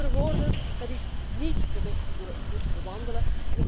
Met andere woorden, dat is niet de weg die we moeten bewandelen.